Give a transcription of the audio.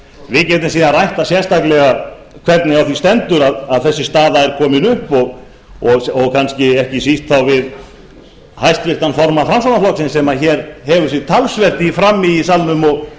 við getum síðan rætt það sérstaklega hvernig á því stendur að þessi staða er komin upp og kannski ekki síst þá við háttvirtan formann framsóknarflokksins sem hér hefur sig talsvert í frammi í salnum